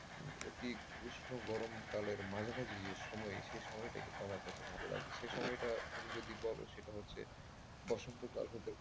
অতি উষ্ণ গরম কালের মাঝামাঝি যে সময় সে সময়টা কিন্তু আমার কাছে ভালো লাগে সে সময়টা তুমি যদি বলো সেটা হচ্ছে বসন্তকাল হতে।